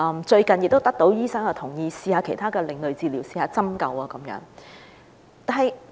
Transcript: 最近，醫生也同意讓其女兒嘗試其他另類治療如針灸等。